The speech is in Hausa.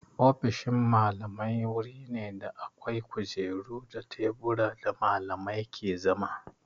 Ofishin Mallamai wuri ne da akwai kujeru da teburan da Mallamai ke zama.